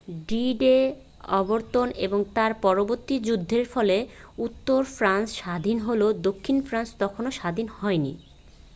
d-day অবতরণ এবং তার পরবর্তী যুদ্ধের ফলে উত্তর ফ্রান্স স্বাধীন হলেও দক্ষিণ ফ্রান্স তখনও স্বাধীন হয়নি